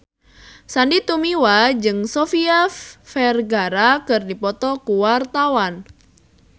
Sandy Tumiwa jeung Sofia Vergara keur dipoto ku wartawan